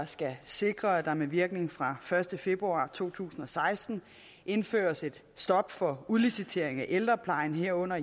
skal sikre at der med virkning fra første februar to tusind og seksten indføres et stop for udlicitering af ældreplejen herunder